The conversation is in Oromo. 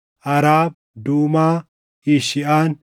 Araab, Duumaa, Eshiʼaan,